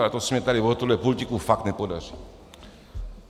Ale to se mi tady od tohohle pultíku fakt nepodaří.